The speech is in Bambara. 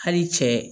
Hali cɛ